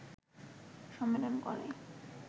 সম্মেলন করে